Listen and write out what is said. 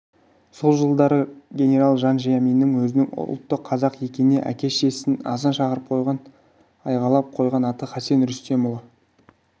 сол жылдары генерал жан жия мин өзінің ұлты қазақ екенін әке-шешесінің азан шақырып айғайлап қойған аты хасен рүстемұлы